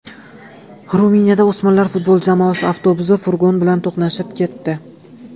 Ruminiyada o‘smirlar futbol jamoasi avtobusi furgon bilan to‘qnashib ketdi.